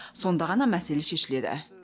сонда ғана мәселе шешіледі